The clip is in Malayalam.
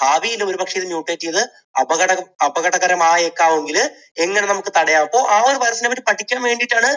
ഭാവിയിൽ ഒരുപക്ഷേ ഇത് mutate ചെയ്തു അപകട~ അപകടകരമായേക്കാമെങ്കിൽ എങ്ങനെ നമുക്ക് തടയാം അപ്പോൾ ആ ഒരു virus നെ പറ്റി പഠിക്കാൻ വേണ്ടിയിട്ടാണ്